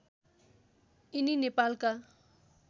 यिनी नेपालका